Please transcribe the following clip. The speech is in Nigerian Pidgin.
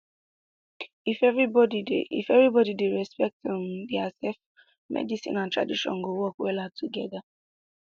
if everybody dey if everybody dey respect um diasef medicine and tradition go work well togeda